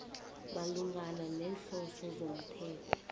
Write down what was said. malungana neenhloso zomthetho